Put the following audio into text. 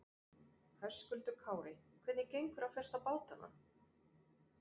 Höskuldur Kári: Hvernig gengur að festa bátana?